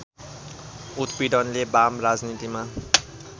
उत्पीडनले बाम राजनीतिमा